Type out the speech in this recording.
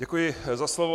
Děkuji za slovo.